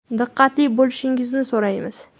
Diqqatli bo‘lishingizni so‘raymiz”.